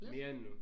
Mere end nu